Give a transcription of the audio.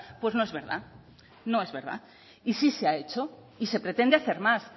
pues no es verdad no es verdad y sí se ha hecho y se pretende hacer más